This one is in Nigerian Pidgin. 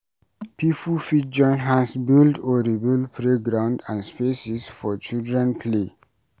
Pipo fit join hands build or rebuild playground and spaces for children play